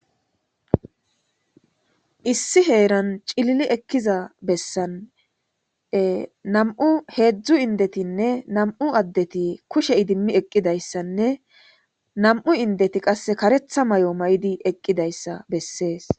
Issi heeran cilili ekiza bessan hezhu indetinne nam'u addeti kushe idimi eqidaysanne nam'u indeti qase katetha mayo mayidaysa besses.